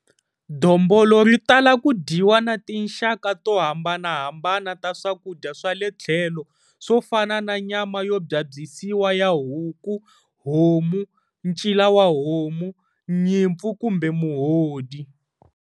Dombolo ri tala ku dyiwa na tinxaka to hambanahambana ta swakudya swa le tlhelo swo fana na nyama yo byabyisiwa ya huku, homu, ncila wa homu, nyimpfu kumbe muhodi.